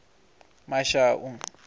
mashau